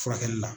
Furakɛli la